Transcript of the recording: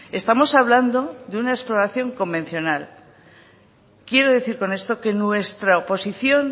estamos hablando de una exploración convencional quiero decir con esto que nuestra oposición